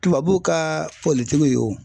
Tubabu ka pɔlitigiw y'o.